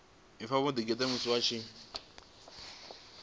pfa vho ḓigeḓa musi vho